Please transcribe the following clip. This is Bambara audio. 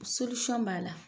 b'a la.